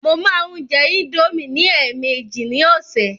Mo máa ń jẹ indomie ní èèmejì ní ọ̀sẹ̀.